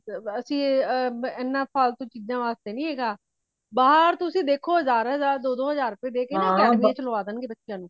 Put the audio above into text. ਅਸੀਂ ਏਨਾ ਫਾਲਤੂ ਚੀਜ ਵਾਸਤੇ ਨਹੀਂ ਹੇਗਾ ਬਾਹਰ ਤੁਸੀਂ ਦੇਖੋ ਹਜਾਰ, ਦੋ -ਦੋ ਹਾਜਰ, ਦੇਕੇ academy ਵਿਚ ਲਗਾ ਦੇਣਗੇ ਬੱਚਾ ਨੂੰ